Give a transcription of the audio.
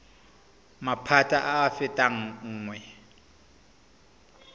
maphata a a fetang nngwe